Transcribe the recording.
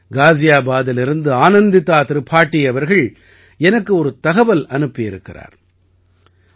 காஜியபாதிலிருந்து ஆனந்திதா திரிபாடீ அவர்கள் எனக்கு ஒரு தகவல் அனுப்பி இருக்கிறார்